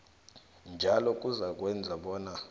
njalo kuzakwenza bona